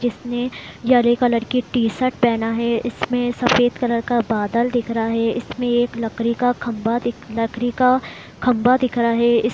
इसने हरे कलर के टी-शर्ट पहना है इसमें सफ़ेद कलर का बादल दिख रहा है इसमें एक लकड़ी का खंभा दि लकड़ी का खंभा दिख रहा है इस --